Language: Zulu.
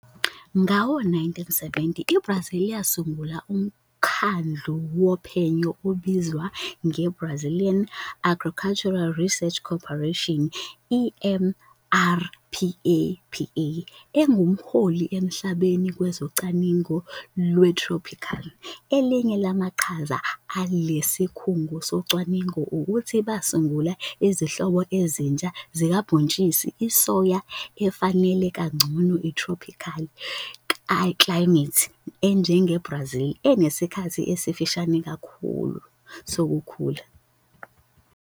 Ngawo-1970, iBrazil yasungula umkhandlu wophenyo obizwa nge-Brazilian Agricultural Research Corporation, EMPRPAPA, enguholi emhlabeni kwezocwaningo lwethrophikhali. Elinye lamaqhaza ale sikhungo socwaningo ukuthi basungula izinhlobo ezintsha zikabhontshisi isoya efanele kangcono ithrophikhali klayimethi enjengeBrazil, enesikhathi esifushane kakhulu sokukhula.